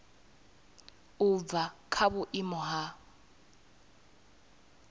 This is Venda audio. u bva kha vhuimo ha